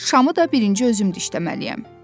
Şamı da birinci özüm də işləməliyəm.